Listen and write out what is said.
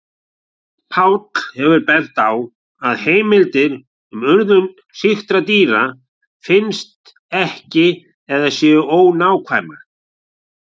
Páll hefur bent á að heimildir um urðun sýktra dýra finnist ekki eða séu ónákvæmar.